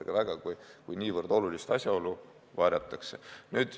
– sellesse ametisse, kui niivõrd olulist asjaolu varjatakse?